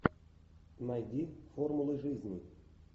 найди формулы жизни